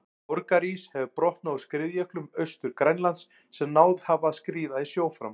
Borgarís hefur brotnað úr skriðjöklum Austur-Grænlands sem náð hafa að skríða í sjó fram.